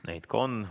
Neid ka on.